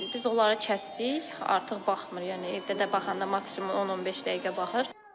Biz onları kəsdik, artıq baxmır, yəni evdə də baxanda maksimum 10-15 dəqiqə baxır.